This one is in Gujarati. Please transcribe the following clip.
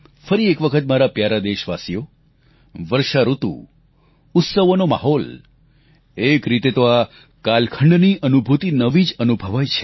ફરી એક વખત મારા પ્યારા દેશવાસીઓ વર્ષાઋતુ ઉત્સવોનો માહોલ એક રીતે તો આ કાલખંડની અનુભૂતિ નવી જ અનુભવાય છે